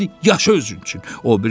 Deyir: yaşa özün üçün.